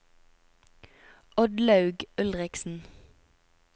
Oddlaug Ulriksen